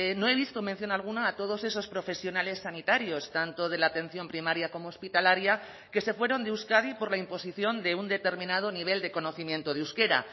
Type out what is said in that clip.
no he visto mención alguna a todos esos profesionales sanitarios tanto de la atención primaria como hospitalaria que se fueron de euskadi por la imposición de un determinado nivel de conocimiento de euskera